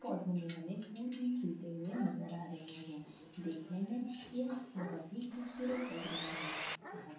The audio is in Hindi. पौधों में हमें फूल भी खिलते हुए नज़र आ रहे हैं देखने में यह बहुत ही खूबसूरत लग रहे हैं यहाँ--